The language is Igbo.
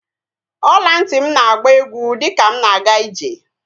Ọla ntị m na-agba egwú dịka m na-aga ije